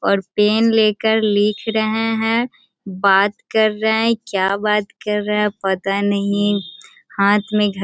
और पेन लेकर लिख रहे है बात कर रहे हैं क्या बात कर रहे हैं पता नहीं हाथ --